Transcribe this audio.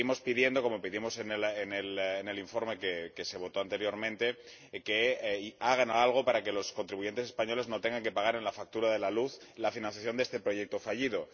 Le seguimos pidiendo, como pedimos en el informe que se votó anteriormente, que hagan algo para que los contribuyentes españoles no tengan que pagar en la factura de la luz la financiación de este proyecto fallido.